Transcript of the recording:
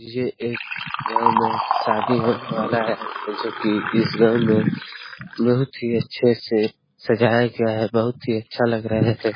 ये एक गाँव में शादी होने वाला है जो की इस गांव में बहुत ही अच्छे से सजाया गया है बहुत ही अच्छा लग रहा है।